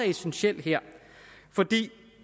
essentiel her for